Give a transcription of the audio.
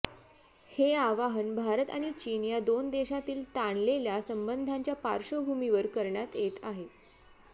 हे आवाहन भारत आणि चीन या दोन देशांतील ताणलेल्या संबंधांच्या पार्श्वभूमीवर करण्यात येत आहे